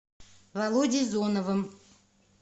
володей зоновым